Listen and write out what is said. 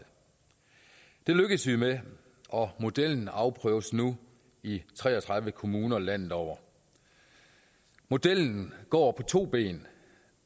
det lykkedes vi med og modellen afprøves nu i tre og tredive kommuner landet over modellen går på to ben